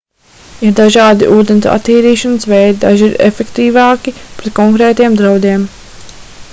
ir dažādi ūdens attīrīšanas veidi daži ir efektīvāki pret konkrētiem draudiem